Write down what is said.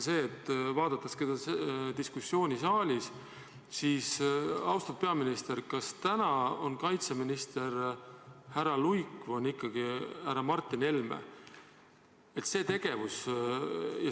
Jälgides seda diskussiooni siin saalis, tekkis küsimus: austatud peaminister, kas kaitseminister on praegu härra Jüri Luik või härra Martin Helme?